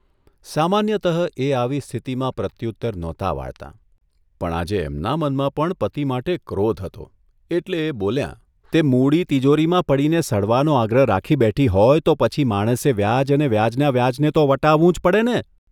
સામાન્યતઃ એ આવી સ્થિતિમાં પ્રત્યુત્તર નહોતાં વાળતાં, પણ આજે એમના મનમાં પણ પતિ માટે ક્રોધ હતો એટલે એ બોલ્યાંઃ તે મૂડી તીજોરીમાં પડીને સડવાનો આગ્રહ રાખી બેઠી હોય તો પછી માણસે વ્યાજ અને વ્યાજના વ્યાજને તો વટાવવું જ પડેને?